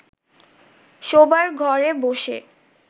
শোবার ঘরে বসে